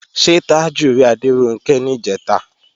Ṣé Tájù rí Adéronkẹ́ níjẹ̀ta?